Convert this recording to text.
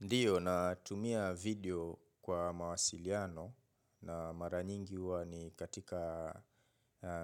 Ndiyo natumia video kwa mawasiliano namaranyingi huwa ni katika